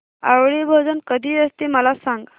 आवळी भोजन कधी असते मला सांग